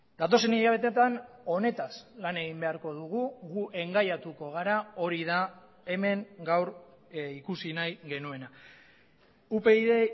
datozen hilabeteetan honetaz lan egin beharko dugu gu engaiatuko gara hori da hemen gaur ikusi nahi genuena upyd